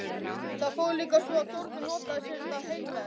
Það fór líka svo að Þórður notaði sér þetta heilræði.